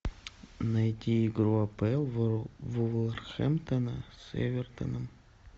найди игру апл вулверхэмптона с эвертоном